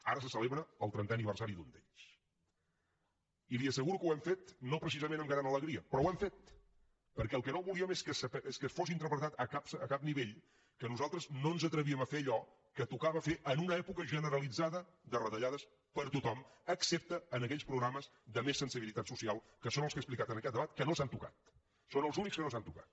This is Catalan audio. ara se celebra el trentè aniversari d’un d’ells i li asseguro que ho hem fet no precisament amb gran alegria però ho hem fet perquè el que no volíem és que fos interpretat a cap nivell que nosaltres no ens atrevíem a fer allò que tocava fer en una època generalitzada de retallades per a tothom excepte en aquells programes de més sensibilitat social que són els que he explicat en aquest debat que no s’han tocat són els únics que no s’han tocat